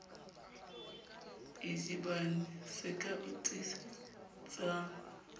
idibane se ka o tiisetsang